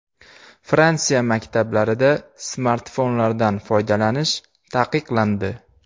Fransiya maktablarida smartfonlardan foydalanish taqiqlandi.